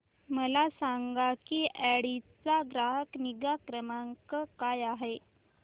मला सांग की ऑडी चा ग्राहक निगा क्रमांक काय आहे